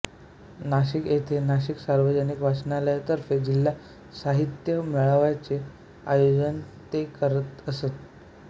नाशिक येथे नाशिक सार्वजनिक वाचनालयातर्फे जिल्हा साहित्यिक मेळाव्याचे आयोजन ते करत असत